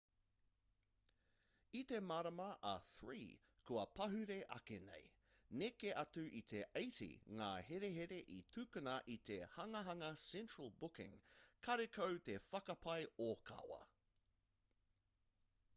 i te marama e 3 kua pahure ake nei neke atu i te 80 ngā herehere i tukuna i te hanganga central booking karekau te whakapae ōkawa